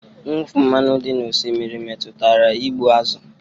Mwụfu mmanụ dị n'osimiri metụtara igbu azụ̀